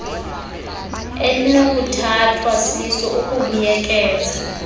elinokuthathwa siso ukubuyekeza